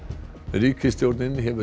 ríkisstjórnin hefur